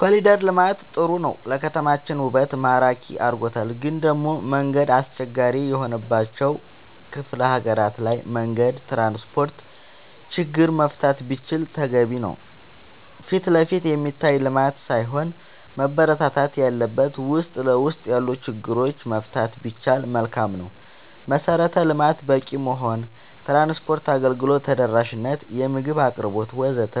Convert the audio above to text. ኮሊደር ልማት ጥሩ ነው ለከተማችን ውበት ማራኪ አርጎታል ግን ደሞ መንገድ አስቸጋሪ የሆነባቸው ክፍለ ሀገራት ላይ መንገድ ትራንስፖርት ችግር መፈታት ቢችል ተገቢ ነው ፊትለፊት የሚታይ ልማት ሳይሆን መበረታታት ያለበት ውስጥ ለውስጥ ያሉ ችግሮች መፍታት ቢቻል መልካም ነው መሰረተ ልማት በቂ መሆን ትራንስፓርት አገልግሎት ተደራሽ ነት የምግብ አቅርቦት ወዘተ